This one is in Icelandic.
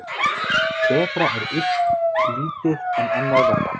Betra er illt lítið en annað verra.